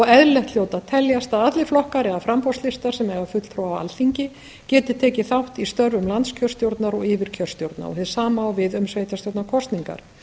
eðlilegt hljóti að teljast að allir flokkar eða framboðslistar sem eiga fulltrúa á alþingi geti tekið þátt í störfum landskjörstjórnar og yfirkjörstjórna hið sama á við um sveitarstjórnarkosningar